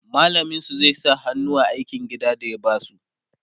mallamin su zai sa hannu a aikin gida da ya basu